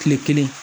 Kile kelen